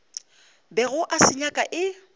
bego a se nyaka e